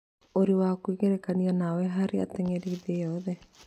Ũrĩ wa kwĩgerekanio nawe harĩ ateng'eri thĩ yothe